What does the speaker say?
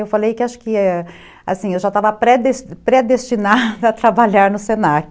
Eu falei que acho que, assim, eu já estava predes predestinada a trabalhar no Senac.